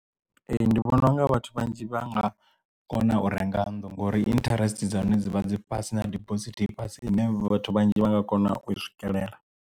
Ee ndi vhona unga vhathu vhanzhi vha nga kona u renga nnḓu ngori interest dza hone dzi vha dzi fhasi na dibosithi ifhasi ine vhathu vhanzhi vha nga kona u swikelela.